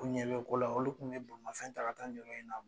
U ɲɛ bi ko la ,olu kun be bolimafɛn ta ka taa nin yɔrɔ in na .